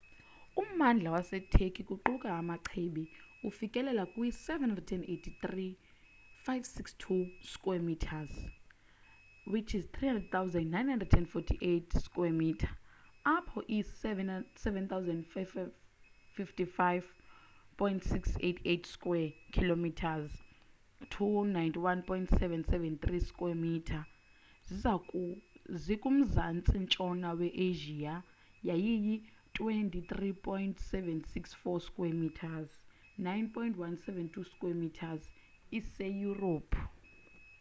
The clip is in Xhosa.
ummandla waseturkey kuquka amachibi ufikelela kwi-783,562 square kilometres 300,948 sq mi apho i-755,688 square kilometres 291,773 sq mi zikumzantsi ntshona we-asia yaye i-23,764 square kilometres 9,174 sq mi iseyurophu